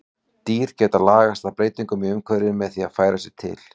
Dýr geta lagast að breytingum í umhverfi með því að færa sig til.